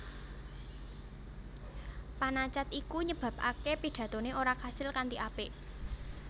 Panacad iku nyebabaké pidatoné ora kasil kanthi apik